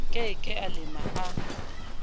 ke ke a lema a